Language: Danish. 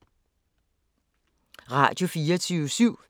Radio24syv